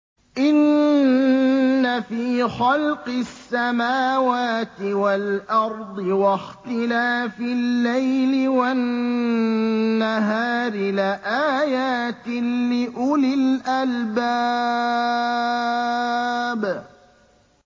إِنَّ فِي خَلْقِ السَّمَاوَاتِ وَالْأَرْضِ وَاخْتِلَافِ اللَّيْلِ وَالنَّهَارِ لَآيَاتٍ لِّأُولِي الْأَلْبَابِ